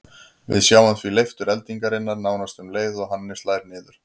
Við sjáum því leiftur eldingarinnar nánast um leið og henni slær niður.